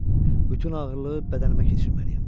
Bütün ağırlığı bədənimə keçirməliyəm.